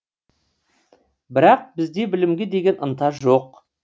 бірақ бізде білімге деген ынта жоқ